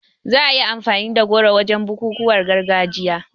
Za a yi amfani da goro wajen bukukuwan gargajiya